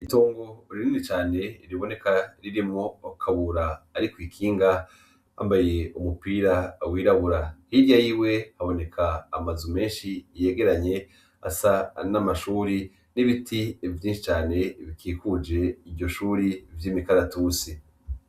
Itongo ririni cane riboneka ririmo kawura, ari kwikinga yambaye umupira wirabura hirya yiwe haboneka amazu menshi iyegeranye asa an' amashuri n'ibiti vyinshi cane bikikuje iryo shuri vy' imikaratusi.